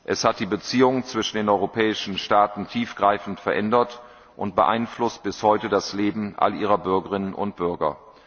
Es hat die Beziehungen zwischen den europäischen Staaten tiefgreifend verändert und beeinflusst bis heute das Leben all ihrer Bürgerinnen und Bürger.